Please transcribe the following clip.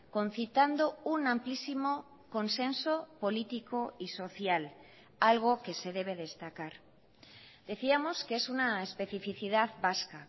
concitando un amplísimo consenso político y social algo que se debe destacar decíamos que es una especificidad vasca